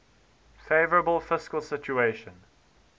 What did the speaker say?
favourable fiscal situation